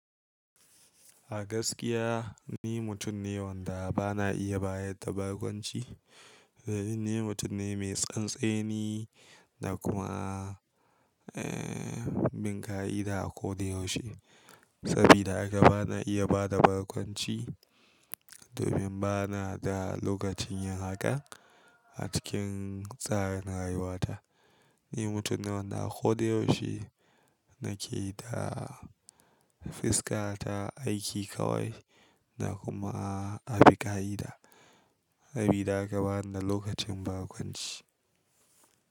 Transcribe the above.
A gaskiya ni mutum ne wanda ba na iya bayar da barkwanci. Ni mutum ne mai tsantseni na kuma, eh, bin ƙa'ida a ko da yaushe. Sabida haka ba na iya ba da barkwanci domin ba na da lokacin yin haka a cikin tsarin rayuwata. Ni mutum ne wanda a ko da yaushe na ke da fiska ta aiki kawai na kuma abi ƙa'ida. Sabida haka ba ni da lokacin barkwanci.